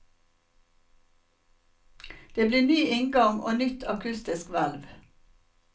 Det blir ny inngang og nytt akustisk hvelv.